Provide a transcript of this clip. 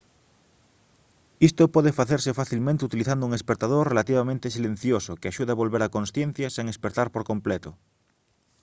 isto pode facerse facilmente utilizando un espertador relativamente silencioso que axude a volver á consciencia sen espertar por completo